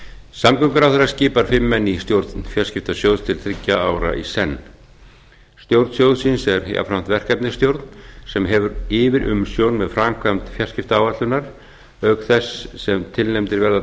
samgönguráðherra skipar fimm menn í stjórn fjarskiptasjóðs til þriggja ára í senn stjórn sjóðsins er jafnframt verkefnastjórn sem hefur yfirumsjón með framkvæmd fjarskiptaáætlunar auk þess sem tilnefndir verða